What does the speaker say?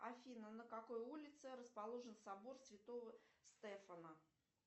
афина на какой улице расположен собор святого стефана